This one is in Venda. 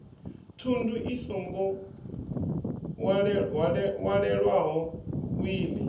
thundu i songo walelwaho wiḽi